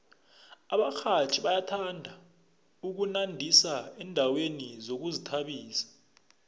abarhatjhi bayathanda ukunandisa endaweni zokuzithabisa